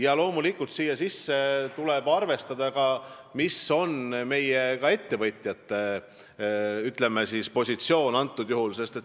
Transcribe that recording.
Ja loomulikult tuleb arvestada ka meie ettevõtjate positsiooni.